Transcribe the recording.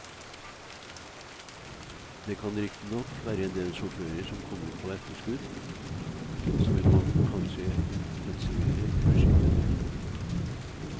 Det kan riktignok være en del sjåfører som kommer på etterskudd, så vi må kanskje intensivere kursingen.